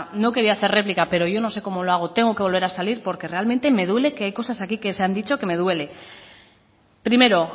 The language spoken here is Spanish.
no quería hacer réplica pero yo no sé cómo lo hago tengo que volver a salir porque realmente me duele que hay cosas aquí que se han dicho que me duelen primero